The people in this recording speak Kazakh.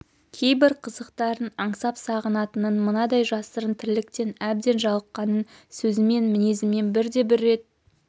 кейбір қызықтарын аңсап-сағынатынын мынадай жасырын тірліктен әбден жалыққанын сөзімен мінезімен бірде бір рет